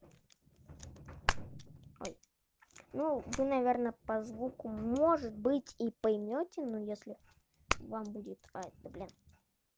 ой ну да наверное по звуку может быть и поймёте но если вам будет ай блин